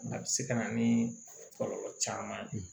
A bɛ se ka na ni kɔlɔlɔ caman ye